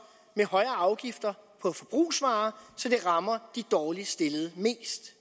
med højere afgifter på forbrugsvarer så det rammer de dårligst stillede mest